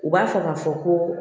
U b'a fɔ k'a fɔ ko